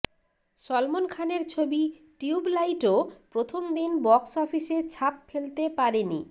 সলমন খানের ছবি টিউবলাইটও প্রথম দিন বক্স অফিসে ছাপ ফেলতে পারেনি